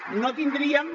no tindríem